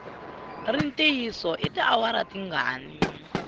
ri ntiyiso i tiawara tingani